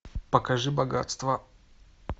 покажи богатство